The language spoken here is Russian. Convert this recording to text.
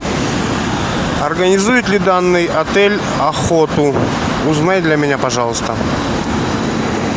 организует ли данный отель охоту узнай для меня пожалуйста